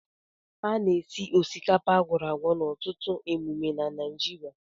A na-esi osikapa akworagwo n'ọtụtụ emume na Naịjirịa